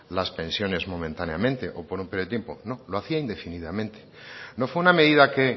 las pensiones momentáneamente o por un periodo de tiempo no lo hacía indefinidamente no fue una medida que